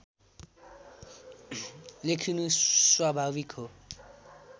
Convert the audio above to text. लेखिनु स्वाभाविक हो